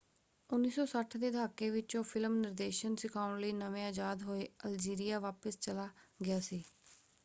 1960 ਦੇ ਦਹਾਕੇ ਵਿੱਚ ਉਹ ਫਿਲਮ ਨਿਰਦੇਸ਼ਨ ਸਿਖਾਉਣ ਲਈ ਨਵੇਂ ਆਜ਼ਾਦ ਹੋਏ ਅਲਜੀਰੀਆ ਵਾਪਸ ਚਲਾ ਗਿਆ ਸੀ।